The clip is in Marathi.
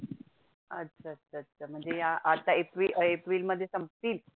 अच्छा अच्छा अच्छा म्हणजे या आता एप्री एप्रीलमध्ये संपतील?